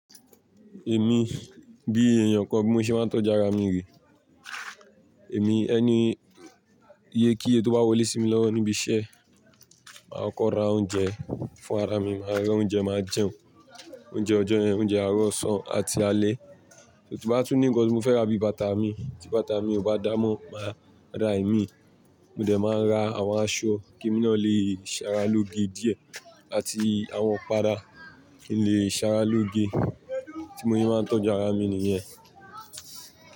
Èmi bí ènìyàn kan bí mo ṣe máa ń tọ́jú ara mi rè, èmi ẹni iyekíye ti o bá wọlé sí mi lọ́wọ́ níbi iṣẹ́, màá kọ́kọ́ ra oúnjẹ fún ara mi, màá ra oúnjẹ máa jẹun, oúnjẹ ọjọ́ yẹn, oúnjẹ àárọ̀ ọ̀sán àti alẹ́. Tí mo bá tún ní nkán tí mo fẹ́ ra bíi bàtà mi, tí bàtà mi ò bá dámọ́, màá ra ẹ̀mí, mo dẹ̀ máa ra àwọn aṣọ kí èmi náà lè ṣara lóge díẹ̀ àti àwọn ìpara kí n lè ṣara lóge. Bí mo ṣe máa ń tọ́jú ara mi nìyẹn.